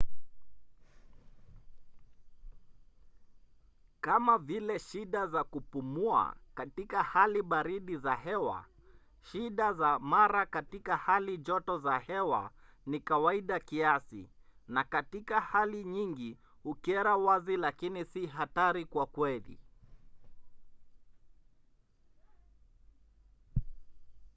kama vile shida za kupumua katika hali baridi za hewa shida za mara katika hali joto za hewa ni kawaida kiasi na katika hali nyingi hukera wazi lakini si hatari kwa kweli